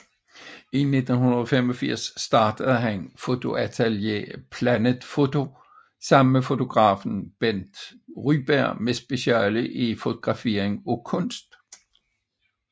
I 1985 startede han fotoatelier Planet foto sammen med fotografen Bent Ryberg med speciale i fotografering af kunst